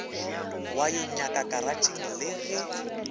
wa yonaka karatšheng le ge